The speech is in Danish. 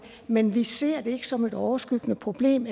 men vi ser det ikke som et overskyggende problem